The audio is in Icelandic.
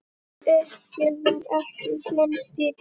Uppgjöf var ekki þinn stíll.